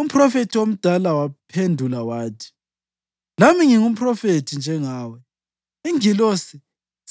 Umphrofethi omdala wamphendula wathi, “Lami ngingumphrofethi njengawe. Ingilosi